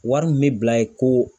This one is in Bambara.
Wari min bɛ bila ye ko